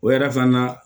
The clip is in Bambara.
O yɛrɛ fana